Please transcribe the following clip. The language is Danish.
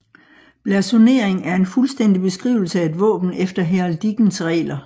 Blasonering er en fuldstændig beskrivelse af et våben efter heraldikkens regler